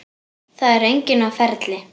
Það er enginn á ferli.